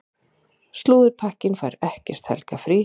Slúðurpakkinn fær ekkert helgarfrí.